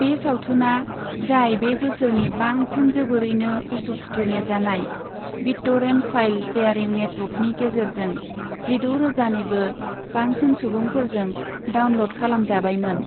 बे सावथुना, जाय बे बोसोरनि बांसिन जोबोरैनो उसु खुथु नेजानाय, बिट्ट'रेन्ट फाइल शेयारिं नेटवर्कनि गेजेरजों जिद' रोजानिबो बांसिन सुबुंफोरजों डाउनल'ड खालामजाबायमोन।